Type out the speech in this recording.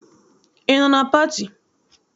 Ị nọ na pati?